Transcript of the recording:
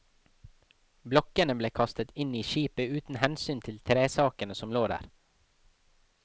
Blokkene ble kastet inn i skipet uten hensyn til tresakene som lå der.